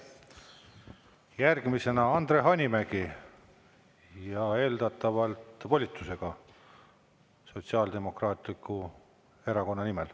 Järgmisena Andre Hanimägi ja eeldatavalt volitusega Sotsiaaldemokraatliku Erakonna nimel.